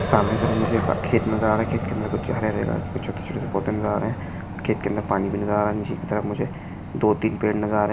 सामने की तरफ मुझे एक खेत नजर आ रहे है खेत के अंदर हरे हरे छोटे छोटे पौधे नजर आ रहे है दो तीन पेड़ नजर आ रहे है।